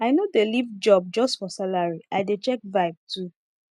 i no dey leave job just for salary i dey check vibe too